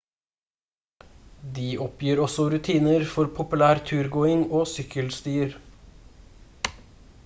de oppgir også ruter for populær turgåing og sykkelstier